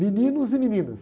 Meninos e meninas.